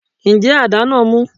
Ǹjẹ́ adá náà mú?